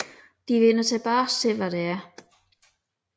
Det vender tilbage til hvad det er